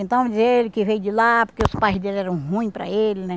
Então dizia ele que veio de lá porque os pais dele eram ruim para ele, né?